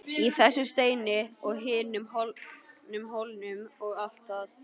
Í þessum steini og hinum hólnum og allt það.